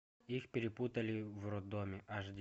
их перепутали в роддоме аш ди